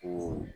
Ko